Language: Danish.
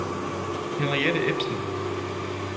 Henriette Ebbesen